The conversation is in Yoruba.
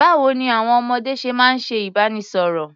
Báwo ní àwọn ọmọdé ṣe máa ń ṣe ìbánisọ̀rọ̀?